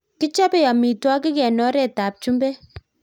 Kichobei amotwikik eng oret ab chumbek.